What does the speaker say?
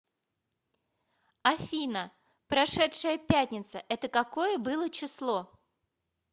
афина прошедшая пятница это какое было число